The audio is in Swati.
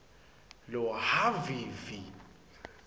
lohhavivi